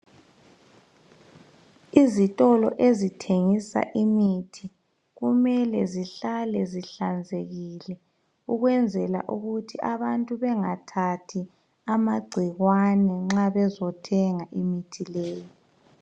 Izitolo ezithengisa imithi kumele zihlale zihlanzekile ukwenzela ukuthi abantu bengathathi amagciwane nxa bezothenga imithi leyo.